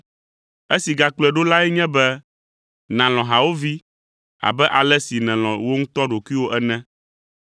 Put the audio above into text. Esi gakplɔe ɖo lae nye be, nàlɔ̃ hawòvi abe ale si nèlɔ̃ wò ŋutɔ ɖokuiwò ene.